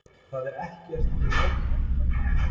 Það er ekkert í höfn ennþá